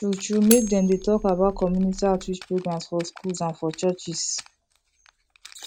true true make dem dey talk about community outreach programs for schools and for churches